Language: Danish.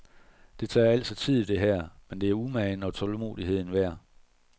Det tager altså tid, det her, men det er umagen og tålmodigheden værd.